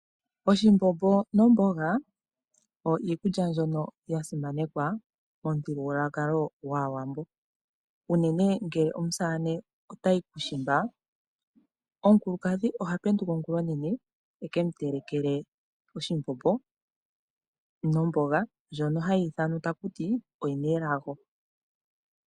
Oshimbombo nomboga oyo iikulya mbyono ya simanekwa mo muthigululwakalo gwAawambo. Unene ngele omusamane otayi kuushimba, omukulukadhi oha penduka ongula onene e ke mu telekele oshimbombo nomboga ndjono hayi ithanwa ta kuti oyi na elago.